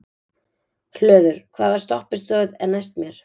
Hlöður, hvaða stoppistöð er næst mér?